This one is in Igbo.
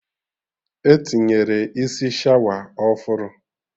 Etinyere isi shawa ọfụrụ